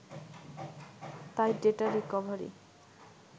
তাই data recovery